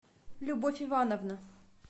любовь ивановна